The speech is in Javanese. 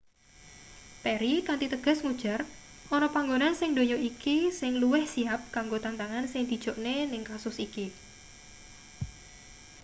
perry kanthi tegas ngujar ana panggonan sing ndonya iki sing luwih siyap kanggo tantangan sing dijokne ning kasus iki